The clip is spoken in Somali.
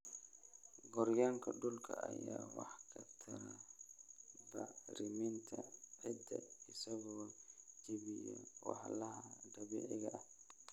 Gooryaanka dhulka ayaa wax ka tara bacriminta ciidda isagoo jebiya walxaha dabiiciga ah.